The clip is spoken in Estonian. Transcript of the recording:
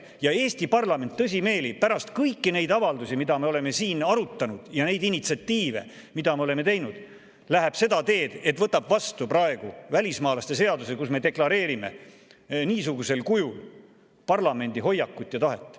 Ja Eesti parlament tõsimeeli pärast kõiki neid avaldusi, mida me oleme siin arutanud, ja neid initsiatiive, mida me oleme teinud, läheb seda teed, et võtab vastu välismaalaste seaduse, kus me deklareerime niisugusel kujul parlamendi hoiakut ja tahet.